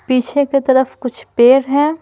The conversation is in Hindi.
पीछे के तरफ कुछ पेड़ हैं।